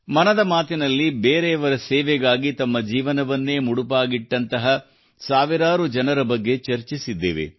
ಮನದ ಮಾತಿನಲ್ಲಿ ಬೇರೆಯವರ ಸೇವೆಗಾಗಿ ತಮ್ಮ ಜೀವನವನ್ನೇ ಮುಡಿಪಾಗಿಟ್ಟಂಥ ಸಾವಿರಾರು ಜನರ ಬಗ್ಗೆ ಚರ್ಚಿಸಿದ್ದೇವೆ